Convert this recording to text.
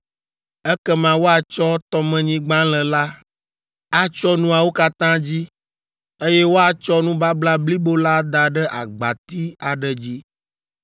Ekema woatsɔ tɔmenyigbalẽ la atsyɔ nuawo katã dzi, eye woatsɔ nubabla blibo la ada ɖe agbati aɖe dzi.